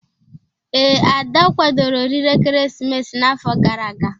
Ee, Ada kwadoro oriri ekeresimesi n'afọ gara aga.